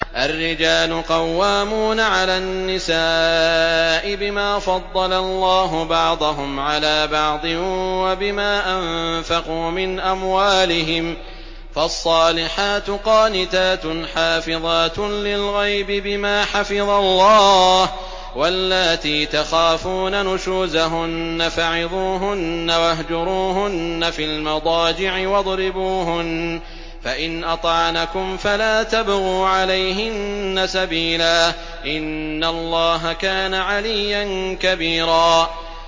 الرِّجَالُ قَوَّامُونَ عَلَى النِّسَاءِ بِمَا فَضَّلَ اللَّهُ بَعْضَهُمْ عَلَىٰ بَعْضٍ وَبِمَا أَنفَقُوا مِنْ أَمْوَالِهِمْ ۚ فَالصَّالِحَاتُ قَانِتَاتٌ حَافِظَاتٌ لِّلْغَيْبِ بِمَا حَفِظَ اللَّهُ ۚ وَاللَّاتِي تَخَافُونَ نُشُوزَهُنَّ فَعِظُوهُنَّ وَاهْجُرُوهُنَّ فِي الْمَضَاجِعِ وَاضْرِبُوهُنَّ ۖ فَإِنْ أَطَعْنَكُمْ فَلَا تَبْغُوا عَلَيْهِنَّ سَبِيلًا ۗ إِنَّ اللَّهَ كَانَ عَلِيًّا كَبِيرًا